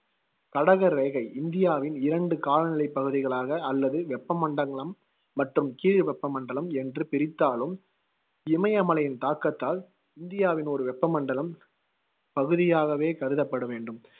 கடக ரேகை இந்தியாவின் இரண்டு காலநிலைப் பகுதிகளாக அல்லது வெப்பமண்டங்கலம் மற்றும் கீழ்வெப்பமண்டலம் என்று பிரித்தாலும், இமய மலையின் தாக்கத்தால் இந்தியாவின் ஒரு வெப்பமண்டலம் பகுதியாகவே கருதப்பட வேண்டும்.